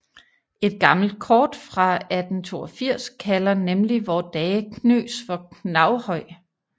Et gammelt kort fra 1882 kalder nemlig vore dages Knøs for Knaghøj